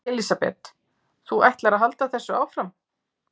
Elísabet: Þú ætlar að halda þessu áfram?